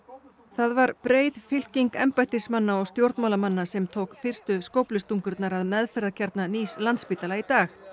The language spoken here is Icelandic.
það var breið fylking embættismanna og stjórnmálamanna sem tók fyrstu skóflustungurnar að meðferðarkjarna nýs Landspítala í dag